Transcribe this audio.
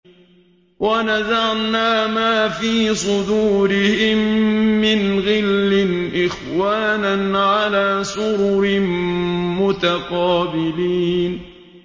وَنَزَعْنَا مَا فِي صُدُورِهِم مِّنْ غِلٍّ إِخْوَانًا عَلَىٰ سُرُرٍ مُّتَقَابِلِينَ